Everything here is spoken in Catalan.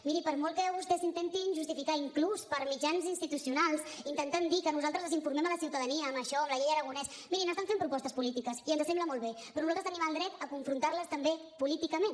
mirin per molt que vostès s’intentin justificar inclús per mitjans institucionals intentant dir que nosaltres desinformem la ciutadania amb això amb la llei aragonès mirin estan fent propostes polítiques i ens sembla molt bé però nosaltres tenim el dret a confrontar les també políticament